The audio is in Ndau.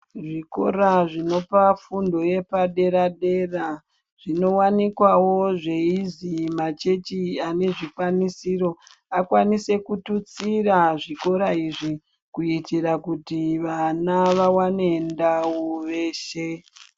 Zvikora zvinopa fundo yepadera dera zvinowanikwawo zvaizi machurch ane zvikwanisiro akwanise kututsira zvikora izvii kuitira kuti vana vawane ndau veshe.